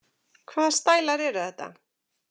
Hvaða stælar eru þetta?